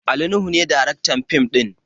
Ali nuhu ne daraktar fim ɗin